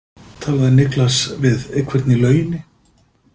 Talaði Niklas við einhvern í lauginni?